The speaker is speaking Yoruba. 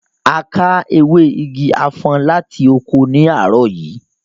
A ká ewé igi afon láti oko ní àárọ̀ yìí